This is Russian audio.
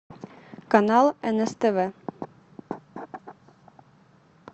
канал нств